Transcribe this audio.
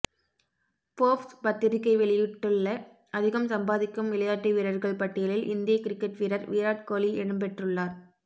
Forbes பத்திரிக்கை வெளியிட்டுள்ள அதிகம் சம்பாதிக்கும் விளையாட்டு வீரர்கள் பட்டியலில் இந்திய கிரிக்கெட் வீரர் விராட் கோலி இடம் பெற்றுள்ளார்